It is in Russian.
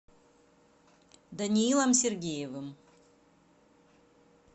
даниилом сергеевым